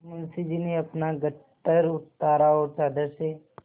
मुंशी जी ने अपना गट्ठर उतारा और चादर से